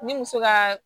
Ni muso ka